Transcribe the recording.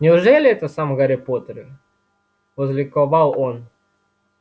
неужели это сам гарри поттер возликовал он